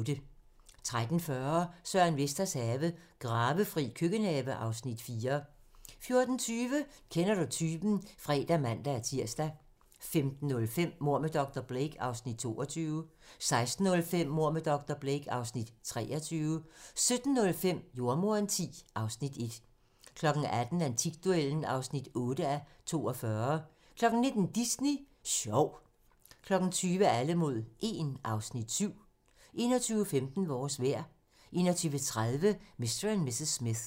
13:40: Søren Vesters have - Gravefri køkkenhave (Afs. 4) 14:20: Kender du typen? (fre og man-tir) 15:05: Mord med dr. Blake (Afs. 22) 16:05: Mord med dr. Blake (Afs. 23) 17:05: Jordemoderen X (Afs. 1) 18:00: Antikduellen (8:42) 19:00: Disney Sjov 20:00: Alle mod 1 (Afs. 7) 21:15: Vores vejr 21:30: Mr. & Mrs. Smith